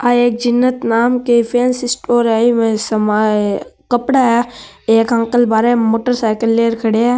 आ एक जीनत नाम के फेन्स स्टोर है एम समान कपडा है एक अंकल बाहर में मोटर साइकल लेर खड़े है।